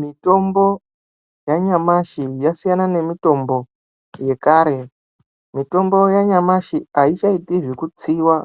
Mitombo yanyamashi yasiyana nemitombo yekare mitombo yanyamashi aichaiti zvekutsiwa